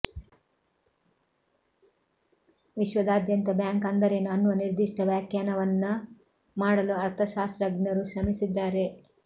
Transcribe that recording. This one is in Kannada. ವಿಶ್ವದಾದ್ಯಂತ ಬ್ಯಾಂಕ್ ಅಂದರೇನು ಅನ್ನುವ ನಿರ್ದಿಷ್ಟ ವ್ಯಾಖ್ಯಾನವನ್ನು ಮಾಡಲು ಅರ್ಥಶಾಸ್ತ್ರಗ್ನರು ಶ್ರಮಿಸಿದ್ದಾರೆ